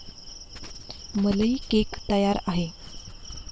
मलई केक तयार आहे.